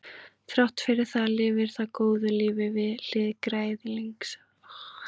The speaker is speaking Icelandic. þrátt fyrir það lifir það góðu lífi við hlið græðlinga